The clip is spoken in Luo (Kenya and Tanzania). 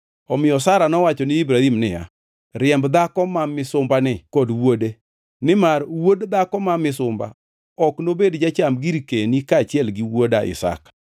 Omiyo Sara nowacho ne Ibrahim niya, “Riemb dhako ma misumbani kod wuode, nimar wuod dhako ma misumbani ok nobed jacham girkeni kaachiel gi wuoda Isaka.”